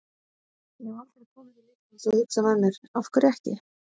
Ég hef aldrei kom til Íslands og hugsaði með mér, af hverju ekki?